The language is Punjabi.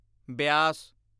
ਬਿਆਸ